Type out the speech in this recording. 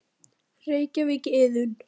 Reykjavík, Iðunn.